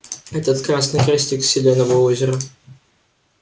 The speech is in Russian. этот красный крестик селеновое озеро